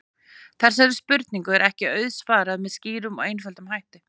Þessari spurningu er ekki auðsvarað með skýrum og einföldum hætti.